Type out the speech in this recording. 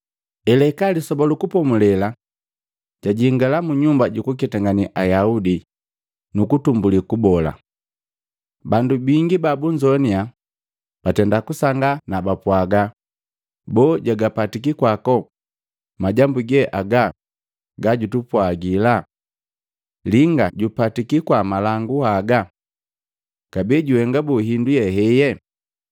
Elahika Lisoba lu Kupomulela, jajingala mu nyumba jukuketangane Ayaudi nu kutumbulii kubola. Bandu bingi babunzoana batenda kusangaa nakaapwagi, “Boo, jagapatiki kwako majambu ge aga gajupwaga? Linga jupatiki kwa malangu haga? Kabee juhenga boo hindu ye heye?